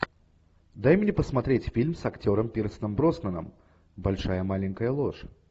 дай мне посмотреть фильм с актером пирсом броснаном большая маленькая ложь